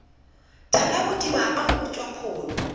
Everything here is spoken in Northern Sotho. thalabodiba a go utswa pholo